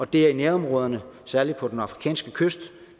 det er i nærområderne særlig på den afrikanske kyst